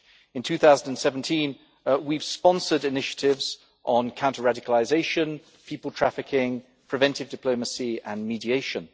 In 2017, we have sponsored initiatives on counter radicalisation, people trafficking, preventive diplomacy and mediation.